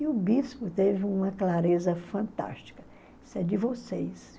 E o bispo teve uma clareza fantástica, disse, é de vocês.